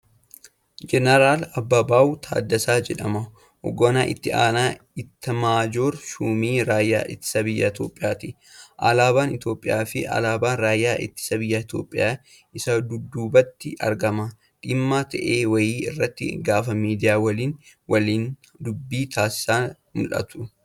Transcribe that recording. Jeneraal Ababaaw Taddasaa jedhama. Hogganaa itti aanaa Ittamaajoor shuumii raayyaa ittisa biyyaa Itoophiyaati. Alaabaan Itoophiyaa fi alaabaan raayyaa ittisa biyyaa Itoophiyaa isa dudduubatti argama. Dhimma ta'e wayii irratti gaafa miidiyaa waliin waliin dubbii taasisan mul'atu.